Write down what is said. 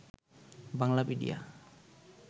Banglapedia